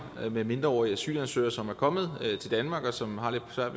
med mindreårige asylansøgere som er kommet til danmark og som har lidt svært